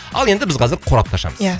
ал енді біз қазір қорапты ашамыз иә